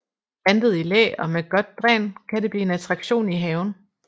Plantet i læ og med godt dræn kan det blive en attraktion i haven